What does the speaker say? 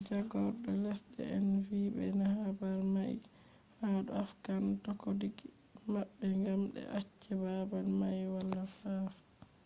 jagordo lesde en vi be habar mai ha dou afghan dokoki mabbe gam be acce babal mai wala nafu